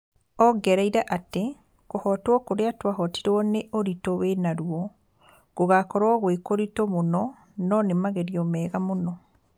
ongereire atĩ "Kuhotwo kuria twahotirwo ni ũritũ wina ruo. Gũgakorwo gwĩ kũritũ mũno no nĩ magerio mega mũno"